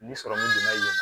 Ni sɔrɔmu donna yen